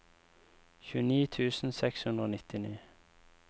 tjueni tusen seks hundre og nittini